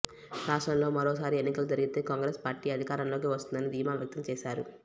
రాష్ట్రంలో మరోసారి ఎన్నికలు జరిగితే కాంగ్రెస్ పార్టీ అధికారంలోకి వస్తుందని ధీమా వ్యక్తం చేశారు